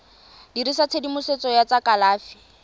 dirisa tshedimosetso ya tsa kalafi